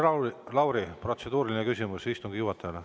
Maris Lauri, protseduuriline küsimus istungi juhatajale.